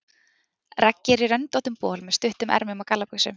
Raggi er í röndóttum bol með stuttum ermum og gallabuxum.